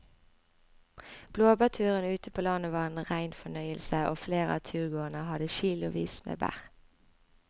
Blåbærturen ute på landet var en rein fornøyelse og flere av turgåerene hadde kilosvis med bær.